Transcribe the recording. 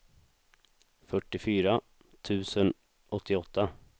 fyrtiofyra tusen åttioåtta